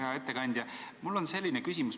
Hea ettekandja!